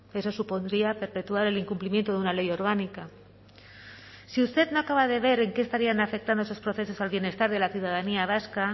eso supondría perpetuar el incumplimiento de una ley orgánica si usted no acaba de ver en qué estarían afectando esos procesos al bienestar de la ciudadanía vasca